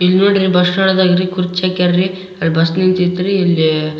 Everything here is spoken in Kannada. ಇಲ್ನೋಡ್ರಿ ಬಸ್ ಸ್ಟ್ಯಾಂಡ ಒಳಗ ಕುರ್ಚಿ ಹಾಕ್ಯಾರ್ ರೀ ಅಲ್ಲ ಬಸ್ ನಿಂತೈತ್ರಿ ಇಲ್ಲಿ --